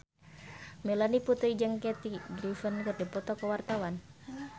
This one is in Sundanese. Melanie Putri jeung Kathy Griffin keur dipoto ku wartawan